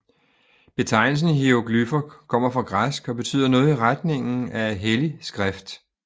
Betegnelsen hieroglyffer kommer fra græsk og betyder noget i retningen af hellig skrift